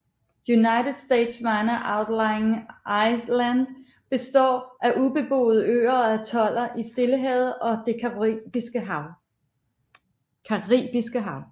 United States Minor Outlying Islands består af ubeboede øer og atoller i Stillehavet og det Caribiske Hav